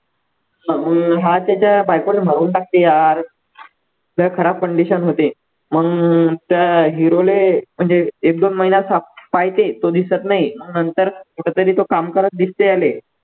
हम्म त्याच्या बायकोला मारून टाकते यार लय खराब condition होते मग त्या hero ले म्हणजे एक दोन महिना साप पाहिजे तो दिसत नाही नंतर कुठेतरी तो काम करत दिसतो याले